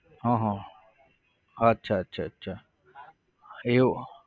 હા હા અચ્છા અચ્છા અચ્છા એવું?